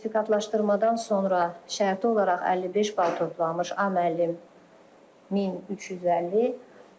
Sertifikatlaşdırmadan sonra şərti olaraq 55 bal toplanmış A müəllim 1350.